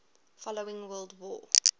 following world war